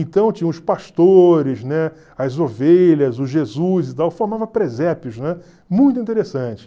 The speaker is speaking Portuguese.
Então tinha os pastores, né, as ovelhas, o Jesus e tal, formava presépios, né? Muito interessante.